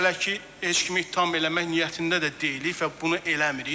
Biz hələ ki heç kimi ittiham eləmək niyyətində də deyilik və bunu eləmirik.